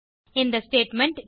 இந்த ஸ்டேட்மெண்ட்